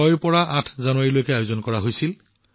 পানাজীত ৬ ৰ পৰা ৮ জানুৱাৰীলৈ এই উৎসৱৰ আয়োজন কৰা হৈছিল